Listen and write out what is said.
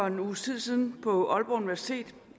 en uges tid siden overværede på aalborg universitet